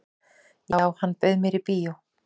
"""Já, hann bauð mér í bíó."""